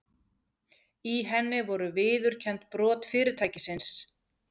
Í henni voru viðurkennd brot fyrirtækisins